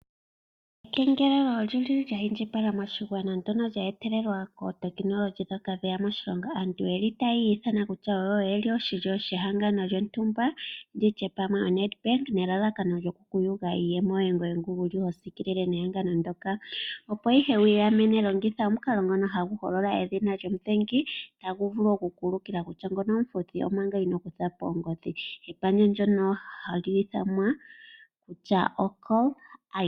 Ekengelelo olyili lya indjipala moshigwana ndono lya etelela kootekinolohi dhoka dheya moshilongo, aantu yeli tayi ithana kutya oyeli oshilyo shehangano lyontumba nditye pamwe oNedbank nelalakano yokukuyuga iiyemo yoye ngoye nguwuli hosiikilile nehangano ndoka. Opo ihe wiigamene longitha omukalo ngono haguholola edhina lyomudhengi taguvulu okukuulukila kutya ngono omufuthi omanga inokutha po ongodhi. Epandja ndono ohali ithanwa kutya oCaller ID.